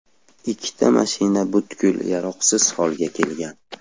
Ikkita mashina butkul yaroqsiz holga kelgan.